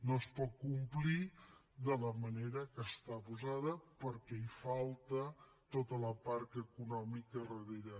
no es pot complir de la manera que està posada perquè hi falta tota la part econòmica a darrere